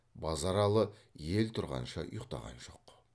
базаралы ел тұрғанша ұйқтаған жоқ